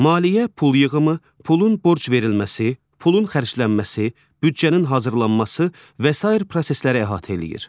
Maliyyə pul yığımı, pulun borc verilməsi, pulun xərclənməsi, büdcənin hazırlanması və sair prosesləri əhatə eləyir.